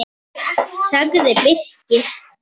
sagði Birkir.